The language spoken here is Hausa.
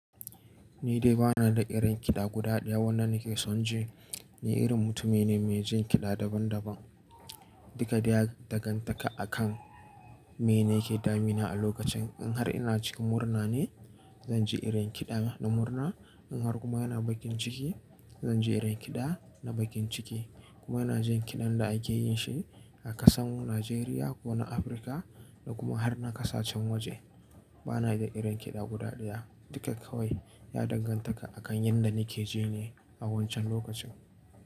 Ni dai bana da irin kiɗa guda ɗaya wanda nake son ji. Ni irin mutumi ne mai jin kiɗa daban daban. Duka dai ya danganta akan me nake damina a lokacin. In har ina cikin murna ne, zan ji irin kiɗa na murna. In har kuma ina bakin ciki, zan ji irin kiɗa na bakin ciki. Kuma ina jin kiɗan da ake yin shi a ƙasan Nijeriya ko na Afirka da kuma har na ƙasashen waje. Bana da irin kiɗa guda ɗaya. Duka kawai ya danganta akan yadda nake ji ne a wancan lokacin.